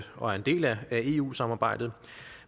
og er en del af eu samarbejdet